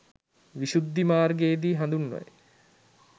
විශුද්ධි මාර්ගයේ දී හඳුන්වයි.